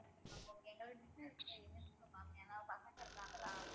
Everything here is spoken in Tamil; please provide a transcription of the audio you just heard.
okay ma'am okay ஏன்னா பசங்க இருக்காங்களா